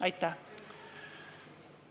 Aitäh!